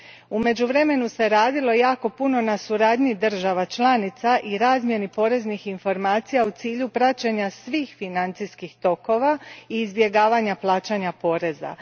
U međuvremenu se radilo jako puno na suradnji država članica i razmjeni poreznih informacija u cilju praćenja svih financijskih tokova i izbjegavanja plaćanja poreza.